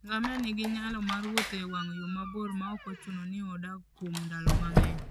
Ngamia nigi nyalo mar wuotho e wang' yo mabor maok ochuno ni odag kuom ndalo mang'eny.